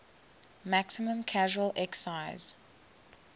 maximum casual excise